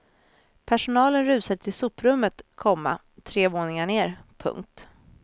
Personalen rusade till soprummet, komma tre våningar ner. punkt